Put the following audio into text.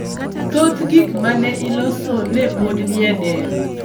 thoth gik ma ne iloso ne pod ni e dero.